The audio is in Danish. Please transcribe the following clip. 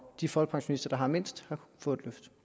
de folkepensionister der har mindst får et løft